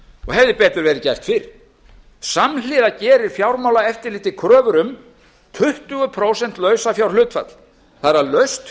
hefði betur verið gert fyrr samhliða gerir fjármálaeftirlitið kröfur um tuttugu prósent lausafjárhlutfall það er að laust